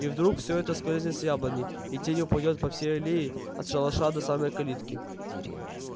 и вдруг все это скользнёт с яблони и тень упадёт по всей аллее от шалаша до самой калитки